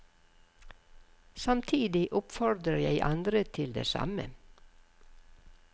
Samtidig oppfordrer jeg andre til det samme.